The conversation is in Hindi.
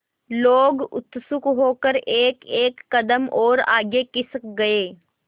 लोग उत्सुक होकर एकएक कदम और आगे खिसक गए